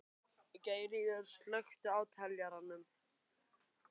Geirríður, slökktu á niðurteljaranum.